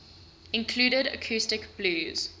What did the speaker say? included acoustic blues